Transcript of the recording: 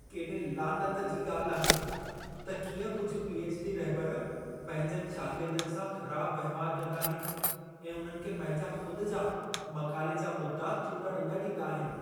केॾे लानत जी ॻाल्ह आहे त कीअं कुझि पी.एछ.डी. रहिबर पंहिंजनि शागिर्दनि सां ख़राब वहिंवार कंदा अहिनि ऐं उन्हनि खे पंहिंजा ख़ुद जा मक़ाले जा मुदआ चूंडण न ॾींदा आहिनि।